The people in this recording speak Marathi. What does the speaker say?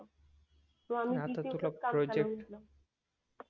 मग आम्ही PC वरच काम चालवून घेतलं